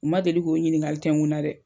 U ma deli k'o ɲininkali tɛkun na dɛ.